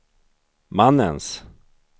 mannens